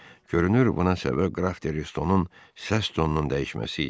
Görünür, buna səbəb Qraf De Restonun səs tonunun dəyişməsi idi.